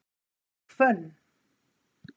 Hvönn